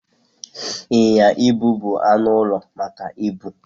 Ịnyịnya ibu bụ anụ ụlọ maka ibu.